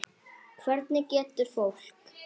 Hvernig getur fólk.